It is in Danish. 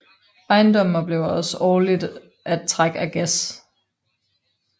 Ejendommen oplever også årligt at træk af gæs